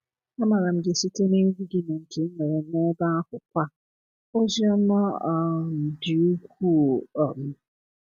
A maara m gị site n’egwu gị na nkà i nwere n’ebe ahụkwa. Ozi ọma um dị ukwuu. um